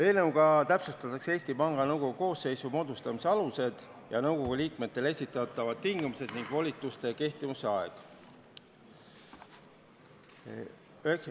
Eelnõuga täpsustatakse Eesti Panga Nõukogu koosseisu moodustamise aluseid ja nõukogu liikmetele esitatavaid tingimusi ning volituste kehtivuse aega.